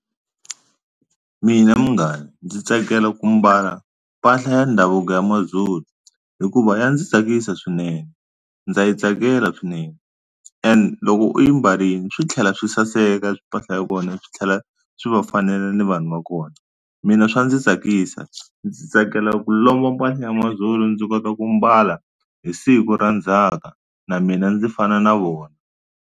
Mina munghana ndzi tsakela ku mbala mpahla ya ndhavuko ya Mazulu hikuva ya ndzi tsakisa swinene ndza yi tsakela swinene and loko u yi mbarile swi tlhela swi saseka mpahla ya kona swi tlhela swi va fanela ni vanhu va kona mina swa ndzi tsakisa ndzi tsakela ku lomba mpahla ya mazulu ndzi kota ku mbala hi siku ra ndzhaka na mina ndzi fana na vona.